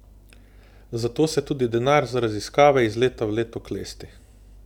Zato se tudi denar za raziskave iz leta v leto klesti.